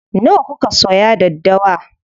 Nawa kuka soya daddawa?